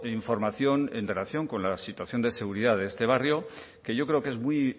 información en relación con la situación de seguridad de este barrio que yo creo que es muy